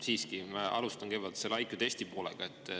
Siiski, ma alustan kõigepealt sellest IQ-testi poolest.